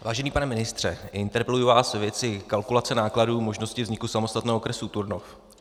Vážený pane ministře, interpeluji vás ve věci kalkulace nákladů možnosti vzniku samostatného okresu Turnov.